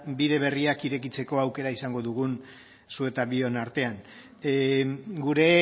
bide berriak irekitzeko aukera izango dugun zu eta bion artean gure